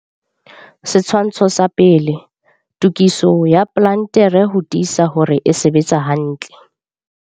Setshwantsho sa 1. Tokiso ya plantere ho tiisa hore e sebetsa hantle.